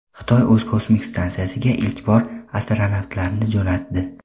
Xitoy o‘z kosmik stansiyasiga ilk bor astronavtlarni jo‘natdi.